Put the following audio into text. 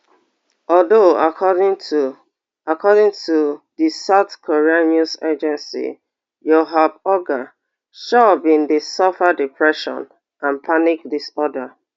although according to according to di south korean news agency choi bin dey suffer depression and panic disorder